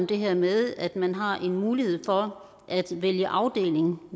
det her med at man har en mulighed for at vælge afdeling